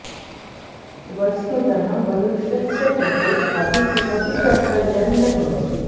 वस्तुतः मनुष्यस्य कृते अपि किमपि कर्तव्यं न भवति